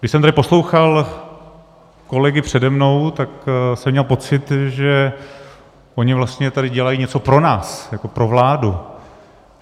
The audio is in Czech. Když jsem tady poslouchal kolegy přede mnou, tak jsem měl pocit, že oni vlastně tady dělají něco pro nás jako pro vládu!